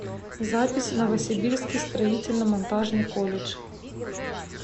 запись новосибирский строительно монтажный колледж